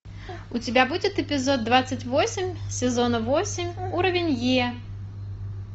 у тебя будет эпизод двадцать восемь сезона восемь уровень е